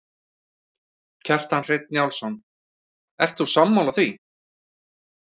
Kjartan Hreinn Njálsson: Ert þú sammála því?